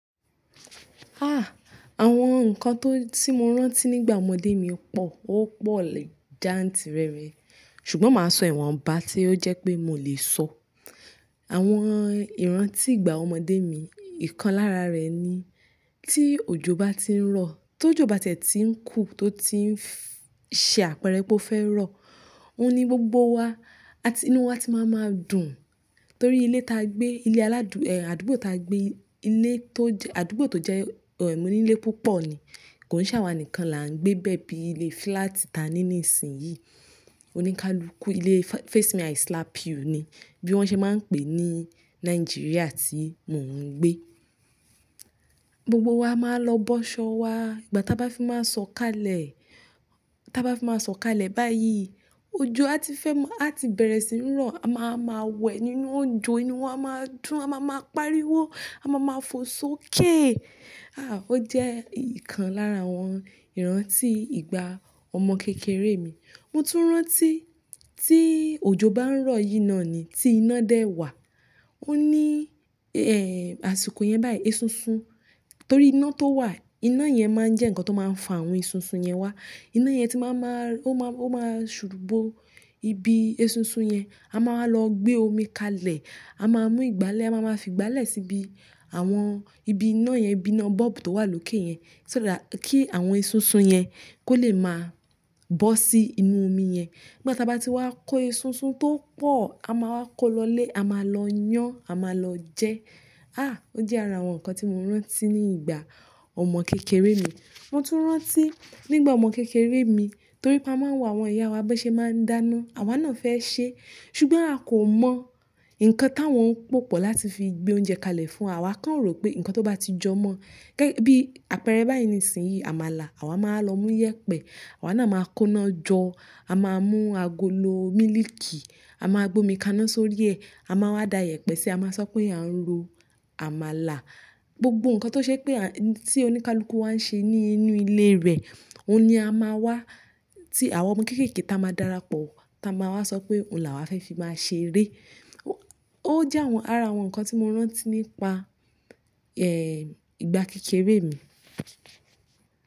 Ah! Àwọn nǹkan tó ti mo rántí nígbà ọmọdé mi pọ̀, ó pọ̀ jantìrẹrẹ. Ṣùgbọ́n màá sọ ìwọ̀n ọba tí ó jẹ́ pé mo lè sọ. Àwọn ìrántí ìgbà ọmọdé mi, ìkan lára rẹ̀ ni tí òjò bá ti ń rọ̀, tó jù bátẹ́ ti ń kù tó ti ń ṣe àpẹẹrẹ pé ó fẹ́ rọ̀, òní gbogbo wa, àti inú wa ti máa ma dùn. Nítorí ilé ta gbé, ilé aládù, àdúgbò ta gbé, ilé tó jẹ́, àdúgbò tó jẹ́ ẹ̀, onílée púpọ̀ ni. Kò ní ṣàwà nìkan la ń gbé bẹ́ẹ̀ bí ilé flat ta ní nísìnyí. Oníkálukú ilé fa-face me I slap you ni bí wọ́n ṣe máa ń pè ní Nàìjíríà tí mò ń gbé. Gbogbo wa máa lọ bọ́ ṣọ wa. Ìgbà táa bá fi máa sọ̀ kalẹ̀, táa bá fi máa sọ̀ kalẹ̀ báyìí, òjò a ti fẹ́ mọ́, a ti bẹ̀rẹ̀ sí ní rọ̀. A máa ma wẹ nínú òǹjò, inú wa máa dùn, a máa ma pariwo, a máa ma fò sókè. Ah! Ó jẹ́ ìkan lára àwọn ìrántí ìgbà ọmọ kékeré mi. Mo tún rántí tí òjò bá ń rọ̀ yíná ni tí iná dẹ́ wà. Ó ní, ẹ́, àsìkò yẹn báyìí, eṣinṣin, torí iná tó wà, iná yẹn máa ń jẹ́ nǹkan tó máa ń fa àwọn eṣinṣin yẹn wá. Iná yẹn ti máa ma, ó máa, ó máa ṣùbú ibi eṣinṣin yẹn. A máa ma lọ gbé omi kalẹ̀, a máa mú ìgbálẹ̀, a máa ma fi ìgbálẹ̀ síbi àwọn ibi iná yẹn, ibi iná bulb tó wà lókè yẹn. Kí àwọn eṣinṣin yẹn kó lè máa bọ́ sí inú omi yẹn. Ìgbà táa bá ti wá kó eṣinṣin tó pọ̀, a máa wá kó lọ lé, a máa lọ yán, a máa lọ jẹ́. Ah! Ó jẹ́ ara àwọn nǹkan tí mo rántí ní ìgbà ọmọ kékeré mi. Mo tún rántí nígbà ọmọ kékeré mi, torí pa máa ń wò àwọn ìyá wa bí wọ́n ṣe máa ń dáná, àwa náà fẹ́ ṣe. Ṣùgbọ́n a kò mọ̀ nǹkan táwọn ń pòpọ̀ láti fi gbé oúnjẹ kalẹ̀ fún wa. Àwa kàn rò pé nǹkan tó bá ti jọmọ́, gẹ́, bí àpẹẹrẹ báyìí nísìnyí, àmàlà, àwa máa lọ mú e yẹpẹ. Àwa náà máa kó iná jọ, a máa mú agolo mílíìkì, a máa gbé omi kaná sórí ẹ. A máa wá da yẹpẹ sí i, a máa sọ pé à ń ro àmàlà. Gbogbo nǹkan tó ṣe pé a, tí oníkálukú wà ń ṣe ní inú ilé rẹ̀, òun ni a máa wá, tí àwọn ọmọ kéékèèké ta máa dára pọ̀, ta máa wá sọ pé òun làwá fẹ́ fi máa ṣe eré. Ó jẹ́ àwọn ara àwọn nǹkan tí mo rántí nípa, ẹ́, ìgbà kékeré mi.